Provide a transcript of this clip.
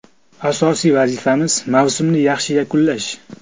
Asosiy vazifamiz mavsumni yaxshi yakunlash.